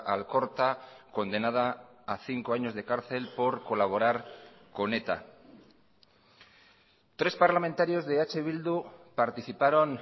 alkorta condenada a cinco años de cárcel por colaborar con eta tres parlamentarios de eh bildu participaron